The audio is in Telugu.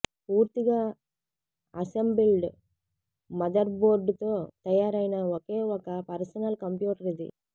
పూర్తిగా అసెంబిల్డ్ మదర్బోర్డుతో తయారైన ఒకే ఒక పర్సనల్ కంప్యూటర్ ఇది